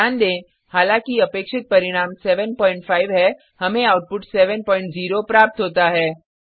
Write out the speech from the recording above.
ध्यान दें हालांकि अपेक्षित परिणाम 75 है हमें आउटपुट 70 प्राप्त होता है